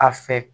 A fɛ